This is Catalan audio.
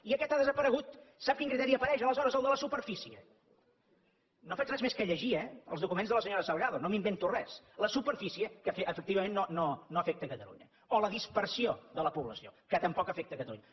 i aquest ha desaparegut sap quin criteri apareix aleshores el de la superfície no faig res més que llegir eh els documents de la senyora salgado no m’invento res la superfície que efectivament no afecta catalunya o la dispersió de la població que tampoc afecta catalunya